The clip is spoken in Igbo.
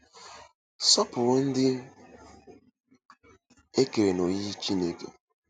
Sọpụrụ Ndị E Kere “N'oyiyi Chineke”